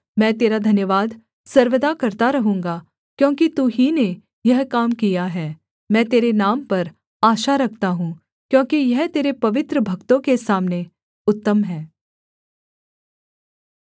मैं तेरा धन्यवाद सर्वदा करता रहूँगा क्योंकि तू ही ने यह काम किया है मैं तेरे नाम पर आशा रखता हूँ क्योंकि यह तेरे पवित्र भक्तों के सामने उत्तम है